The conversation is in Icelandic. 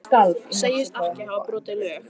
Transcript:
Segist ekki hafa brotið lög